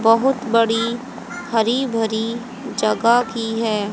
बहुत बड़ी हरी भरी जगह की है।